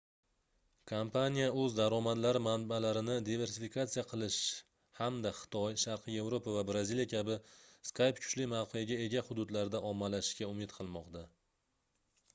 kompaniya oʻz daromadlari manbalarini diversifikatsiya qilish hamda xitoy sharqiy yevropa va braziliya kabi skype kuchli mavqega ega hududlarda ommalashishga umid qilmoqda